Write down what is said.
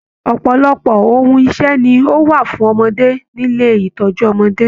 Ọpọlọpọ ohùn ìṣe ní o wa fún ọmọdé nílé ìtọjú ọmọdé.